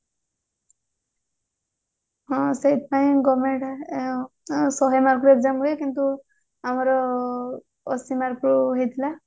ହଁ ସେଇଥିପାଇଁ ଶହେ mark ର exam ହୁଏ କିନ୍ତୁ ଆମର ଅଶି mark ର ହେଇଥିଲା